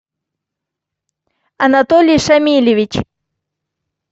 анатолий шамильевич